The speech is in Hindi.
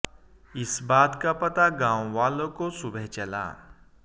इस बात का पता गांव वालों को सुबह चला